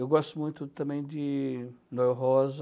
Eu gosto muito também de Manuel Rosa.